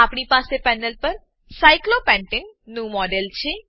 આપણી પાસે પેનલ પર સાયક્લોપેન્ટને સાયક્લોપેન્ટેન નું મોડેલ છે